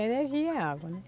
Energia é água, né?